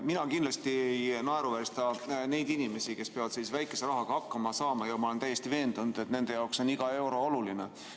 Mina kindlasti ei naeruväärista neid inimesi, kes peavad väikese rahaga hakkama saama, ja ma olen täiesti veendunud, et nende jaoks on iga euro oluline.